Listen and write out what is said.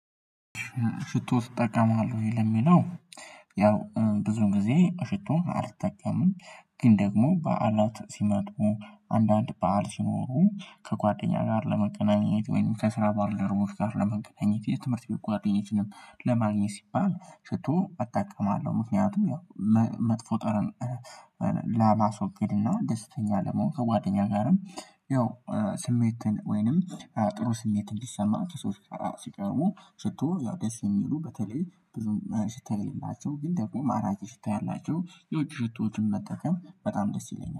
ሽቶ ትጠቀማለህ ወይ? ለሚለው ያው ብዙ ጊዜ ሽቶ አልጠቀምም ግን ደግሞ በዓላት ሲመጡ አንዳንድ በዓል ሲኖሩ ከጓደኛ ጋር ለመገናኘት ወይም ከስራ ባልደረቦች ጋር ለመገናኘት የ ትምህርት ቤት ጓደኞችንም ለማግኘት ሲባል ሽቶ እጠቅማለሁ ምክንያቱም ያው መጥፎ ጠረን ላብ አስወግድ እና ደስተኛ ለመሆን ከጓደኛ ጋርም ያው ስሜትን ወይንም ጥሩ ስሜት እንዲሰማ ከሰው ጋራ ሲቀርቡ ሽቶ ያው ደስ የሚሉ በተለይ ብዙም ሽታ የለላቸው ግን ደግሞ ማራኪ ሽታ ያላቸው የውጭ ሽቶችን መጠቀም በጣም ደስ ይለኛል